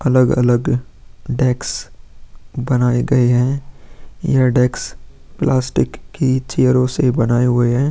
अलग-अलग डेक्स बनाये गए हैं यह डेक्स प्लास्टिक की चेयरों से बनाये हुए हैं।